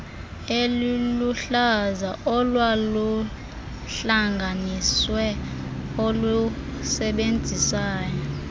eliluhlaza olwaluhlanganisiwe olusebenzisana